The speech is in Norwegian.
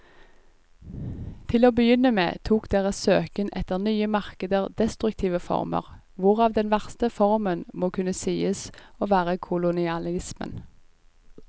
Til å begynne med tok deres søken etter nye markeder destruktive former, hvorav den verste formen må kunne sies å være kolonialismen.